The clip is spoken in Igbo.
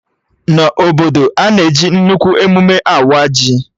Na obodo, a na-eji nnukwu emụme awa ji